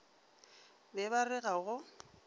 be ba re ga go